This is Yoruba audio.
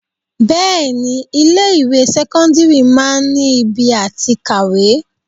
Bẹẹni ilé ìwé sẹ́kọ́ńdírì máa ń ibi àti kàwé.